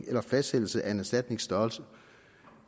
eller fastsættelsen af en erstatnings størrelse